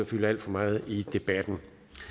fylde alt for meget i debatten